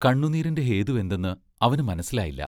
കണ്ണുനീരിന്റെ ഹേതുവെന്തെന്ന് അവനു മനസ്സിലായില്ല.